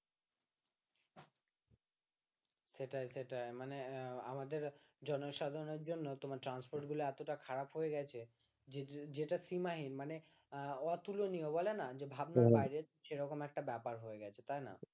সেটাই সেটাই মানে আমাদের জনসাধারণের জন্য তোমার transport গুলো এতটা খারাপ হয়ে গেছে যে যেটা সীমাহীন মানে আহ অতুলনীয় বলে না যে ভাবনার বাইরে সেরকম একটা ব্যাপার হয়ে গেছে তাই না